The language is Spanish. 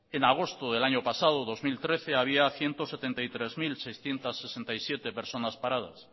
en agosto del año pasado dos mil trece había ciento setenta y tres mil seiscientos sesenta y siete personas paradas